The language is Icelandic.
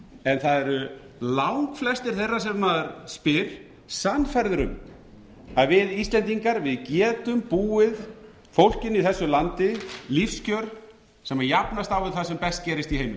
en það eru langflestir þeirra sem maður spyr sannfærðir um að við íslendingar getum búið fólkinu í þessu landi lífskjör sem jafnast á við það sem best gerist í